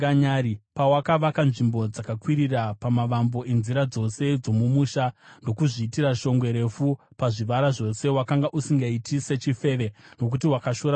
Pawakavaka nzvimbo dzakakwirira pamavambo enzira dzose dzomumusha ndokuzviitira shongwe refu pazvivara zvose, wakanga usingaiti sechifeve, nokuti wakashora muripo.